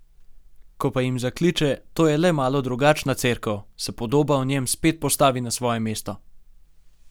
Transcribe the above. Ko pa jim zakliče: "To je le malo drugačna cerkev," se podoba o njem spet postavi na svoje mesto.